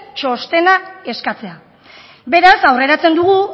txostena eskatzea beraz aurreratzen dugu